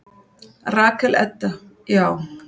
Rakel Edda: Já.